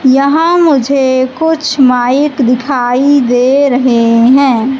यहां मुझे कुछ माइक दिखाई दे रहे हैं।